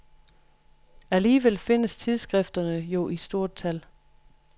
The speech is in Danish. Alligevel findes tidsskrifterne jo i stort tal.